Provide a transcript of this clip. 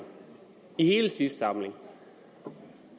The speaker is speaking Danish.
i hele sidste samling